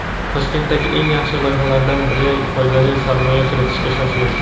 Toshkentdagi eng yaxshi loyihalardan biriga foydali sarmoya kiritishga shoshiling.